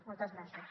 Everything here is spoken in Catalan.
moltes gràcies